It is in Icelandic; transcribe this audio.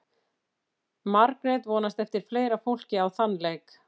Margrét vonast eftir fleira fólki á þann leik.